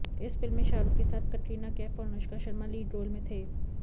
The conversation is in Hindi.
इस फिल्म में शाहरुख के साथ कैटरीना कैफ और अनुष्का शर्मा लीड रोल में थे